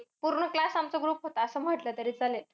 पूर्ण class आमचा group होता, असं म्हटलं तरी चालेल.